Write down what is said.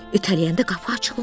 İtələyəndə qapı açıldı.